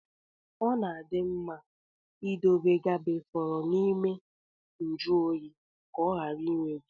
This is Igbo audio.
Ọ na-adị mma idobe gabe fọrọ n’ime njuoyi, ka ọ ghara imebi